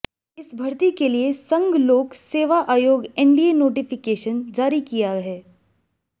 इस भर्ती के लिए संघ लोक सेवा आयोग एनडीए नोटिफिकेशन जारी किया है